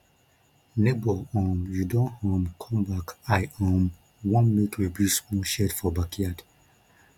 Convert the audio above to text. nebor um you don um come back i um want make we build small shed for backyard